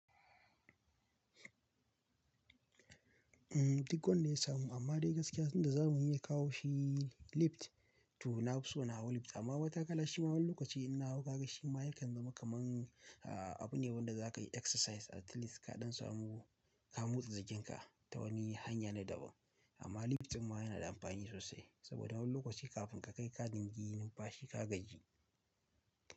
Duk wanda ya samu, amma dai gaskiya abinda zamani ya kawo shi lift, to nafi so na hau lift, amma matakala shima wani lokaci in na hau ka ga shima yakan zama kaman, a-abu ne wanda zaka yi exercise at least kaɗan samu ka motsa jinkin ka ta wani hanya na daban. Amma lift ɗin ma yana da amfani sosai, saboda wani lokaci kafin ka kai ƙa dingi yi numfashi ka gaji.